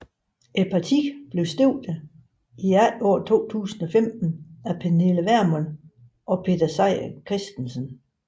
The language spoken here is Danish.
Partiet blev stiftet i efteråret 2015 af Pernille Vermund og Peter Seier Christensen